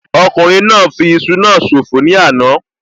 Ọkùnrin náà fi iṣu náà ṣòfò ní àná